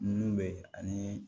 Nun be yen ani